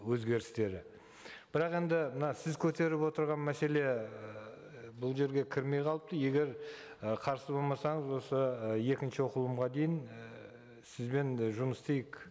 өзгерістері бірақ енді мына сіз көтеріп отырған мәселе ыыы бұл жерге кірмей қалыпты егер ы қарсы болмасаңыз осы ы екінші оқылымға дейін ііі сізбен жұмыс істейік